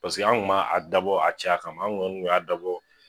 Paseke an kun ma a dabɔ a caya kama anw kɔni kun y'a dabɔ